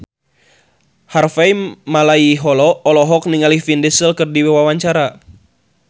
Harvey Malaiholo olohok ningali Vin Diesel keur diwawancara